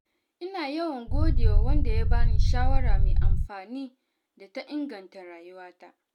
Ina yawan gode wa wanda ya bani shawara mai amfani da ta inganta rayuwata.